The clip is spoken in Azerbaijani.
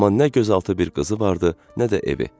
Amma nə gözaltı bir qızı vardı, nə də evi.